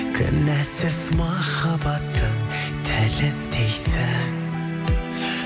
кінәсіз махаббаттың тіліндейсің